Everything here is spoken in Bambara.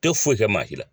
Tɛ foyi kɛ maa si la